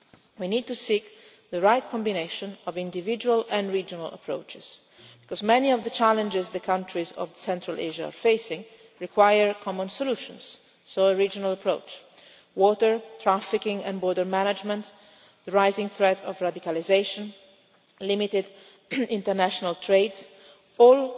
We need to seek the right combination of individual and regional approaches, because many of the challenges the countries of Central Asia face require common solutions. A regional approach is therefore required. Water, trafficking and border management, the rising threat of radicalisation, and limited international trade are